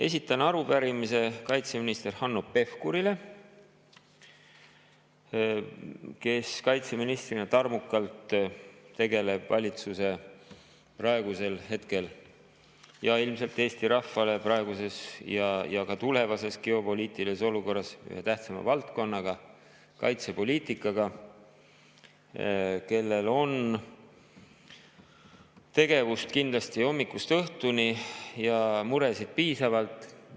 Esitan arupärimise kaitseminister Hanno Pevkurile, kes kaitseministrina tarmukalt tegeleb praegu valitsusele ja ilmselt Eesti rahvale praeguses ja ka tulevases geopoliitilises olukorras ühe kõige tähtsama valdkonnaga, kaitsepoliitikaga, kellel on tegevust kindlasti hommikust õhtuni ja muresid piisavalt.